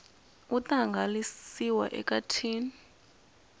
wu ta hangalasiwa eka tin